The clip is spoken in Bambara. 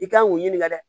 I kan k'o ɲininka dɛ